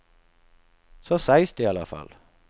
Så sägs det i alla fall.